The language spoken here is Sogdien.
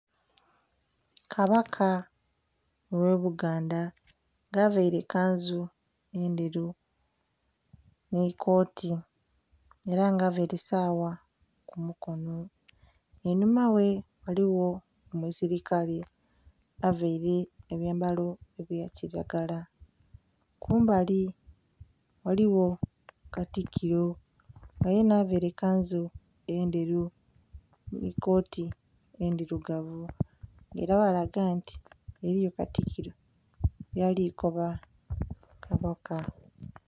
Kabaka oghe buganda nga avaire kanzu endheru nhi kooti era nga avaire sawa ku mukonho, einhuma ghe ghaligho omusilikale avaire abyambalo ebya kilagala, kumbali ghaligho katikilo nga yena avaire kanzu ndheru nhi kooti endhirugavu nga era ghalaga nti ghaliyo katikilo byali kukoba kabaka.